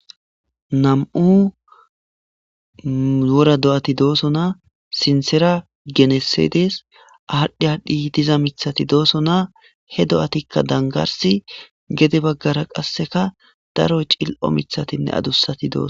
Nam7u wora do7ati doosona. Sinththera genese dees. Adhi adhdhi diza miththati doosona ; he do7atikka danggarssi gede bagara qassi daro cil7o miththatinne adussa miththati doosona.